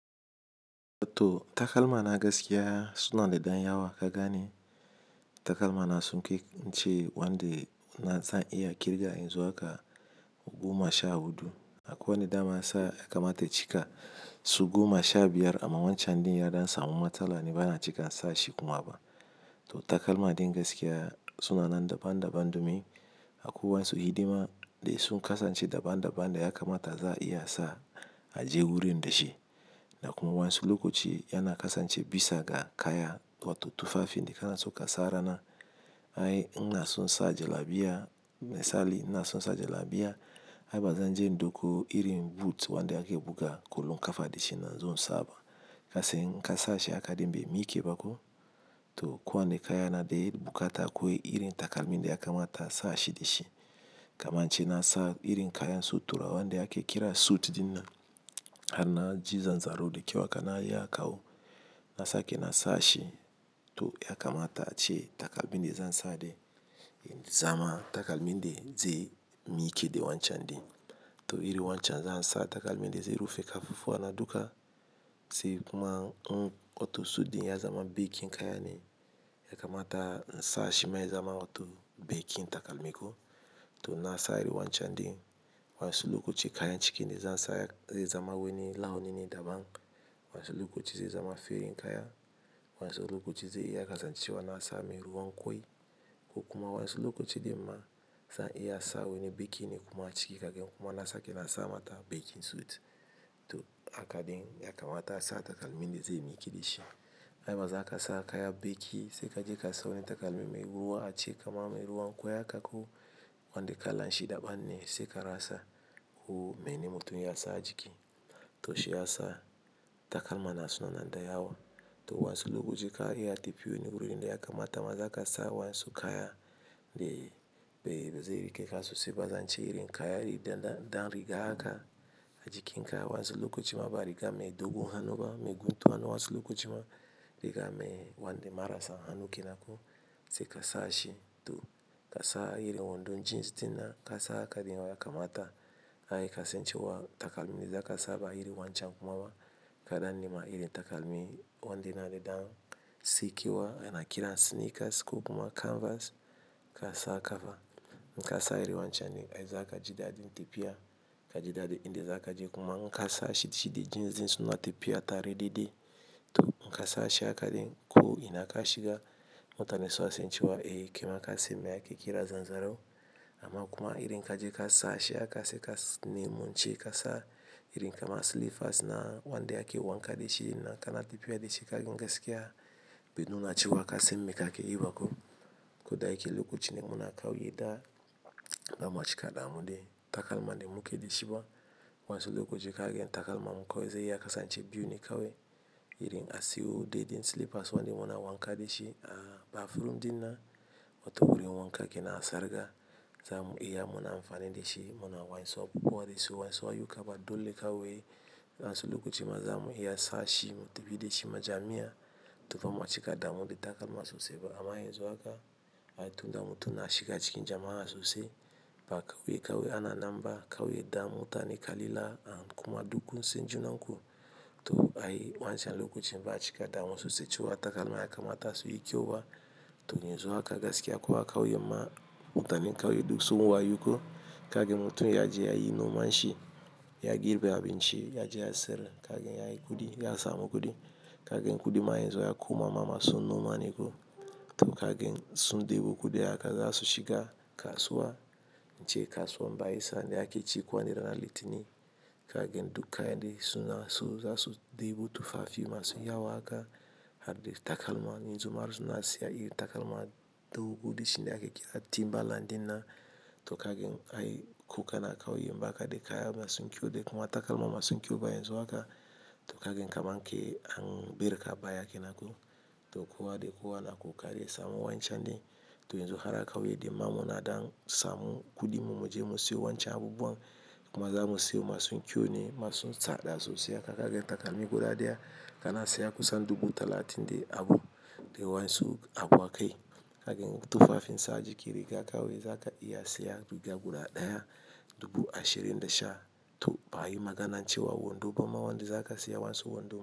To takalma na gaskiya suna da ɗan yawa. Ka gane takalma na sunkai ince wanda na zan iya ƙirga in zo haka goma sha huɗu. Akwai wanda dama ya sa ya kamata cika su goma sha biyar amma wancan ɗin ya don samun matsala ni bana cika sa shi kuma ba. To takalma din gaskiya suna nan daban daban domin akwai wasu hidima dai sun kasance daban daban da ya kamata za a iya sa a je wurin da shi. Da kuma wasu lokoci yana kasance bisa ga kaya wato tufafi. In kana so ka sa rana ai in na so sa jalabiya, misali in na so sa jalabiya ai bazan je duku irin but wanda ake buga kwallon kafa da shi in zo in saba. Kasai in ka sa shi aka dimbe miike ba ko. To kowa ne kaya na da irin bukatar ko irin takalmi da ya kamata a sa shi da shi. Kamance na sa irin kaya na so tura wanda ake kira suit dina har na ji zanzaro dakyau haka kawo. Na sake na sa shi to ya kamata a ce takalmi da zan sa dai zama takalmi da zai miike da wancan ɗin. To irin wancan zan sa takalmi da zai rufe kafafu wa na duka sai kuma in wato suit din ya zama bakin kaya ne ya kamata in sa shi ma ya zama wato bakin takalmi ko. To na sa iri wancan ɗin. Wasu lokaci kayan cikinda za'a sa zai zama wani launi daban. Wasu lokoci zai zama ferin kaya. Wasu lokoci zai iya kasancewa na sa mai ruwan kwai ko kuma wasu lokoci dai ma zan iya sa wani bakine kuma a ciki kagen kuma na sake na sa mata bakin suit. To haka din ya kamata a sa takalmi da zai miike da shi. Ai baza ka sa kaya bakin sai ka je ka sa wani takalmi mai ruwa a ciki kaman mai ruwan kwai haka ko wanda kalan shi daban ne sai ka rasa. Ko mene mutumin ya sa a jiki. To shi ya sa takalma na suna nan da yawa. To wasu lokoci ka iya tafi wani wurin da ya kamata mazaka sa wasu kaya dai be zai rike kasu sai bazance irin kaya da dan riga haka a jikin ka wasu lokuta ma ba riga mai dogon hannu ba, mai guntu hannu wasu lokuta ma riga mai wanda marasa hannu ke nanko sai ka sa shi to ka sa iri wando jeans dinan ka sa haka din ya kamata ai kasancewa takalmi da zaka saba iri wancan kuma ba kaɗan nema iri takalmi wandina da dan sikewa ana kira sneakers ko kuma canvas ka sa a kafa. In ka sa iri wancan ai zaka ji dadi in tafi ya ka ji dadi in da zaka je kuma in ka sa shi shi da jeans din suna tafiya tare da dai. To in ka sa shi haka din ko ina ka shiga mutane sua sancewa eh ke ma kasai mai ake kira zanzaro. Amma kuma irin kaje ka sa shi aka sai kasani mun ce ka sa irin kama slippers na wanda ake wanka da shi nan kana tafiya da shi kagen gaskiya. Be nuna cewa kasan mai kake yi ba ko. Ko dai ke lokacin da muna kauye da gama cika damuɗe takalma da muke da shi ba. Wasu lokaci in kagan takalmanmu kawai zai iya kasance biyu ne kawai irin asiwo dai dan slippers wanda muna wanka da shi a bathroom dina wato wurin wanka ke na sarga. Zamu iya muna amfani da shi muna wainso ko wanda su wainso a yuka ba dole kawai. Wasu lokoci ma zamu iya sa shi mu tafi da shi majami'a. To fa mun cika damuɗe takalma sosai ba amma in zo haka ai tunda mutum na shiga cikin jama'a sosai ba kawai yi kawai ana nan ba. Kyaue yi da mutane ka lila kuma dukku san junan ku. To ai wancan lokacin ba cika damu sosai cewa takalma ya kamata su yi kyau ba. To in yanzu haka gaskiya ko'a kauye ma mutanen kauye duk sun wayo ko kagen mutum ya je yayi noman shi ya girbe abinci, ya je ya sayar kagen yayi kuɗi ya samu kuɗi. Kagen kuɗi ma in yazo ya koma mama sun noma ne ko. To kagen sun ɗebo kuɗi haka za su shiga kasuwa wacce kasuwan bayi sanda ake cikowani ranan litini. Kagen dukka yanda suna so za su ɗebo tufafi masu yawa haka har dai takalma. Yanzu ma su na siya iri takalma dogo dishin da ake kira timbalandin na. To kagan ai ko kana kauye bakade kaya masu kyau de kuma takalma masu kyau ba yanzu haka to kaga kaman kai an barka a baya kenan ko to kowa de kowa na kukarin yasamu wancan ɗin. To yanzu har a kauye din mamuna dan samu kuɗinmu mu je mu siyo wancan abubuwan kuma za mu siyo masu kyau ne masu tsada sosai haka kagen takalmi guda ɗaya kana siya kusan dubu talatin da abu dai wasu abu aka yi. Kagen tufafin sa a jiki riga kawai zaka iya siya riga guda ɗaya dubu ashirin da sha. To ba ayi maganancewa wando ba ma wanda za ka siya wasu wando.